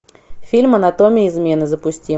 фильм анатомия измены запусти